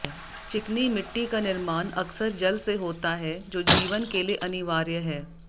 चिकनी मिट्टी का निर्माण अकसर जल से होता है जो जीवन के लिए अनिवार्य है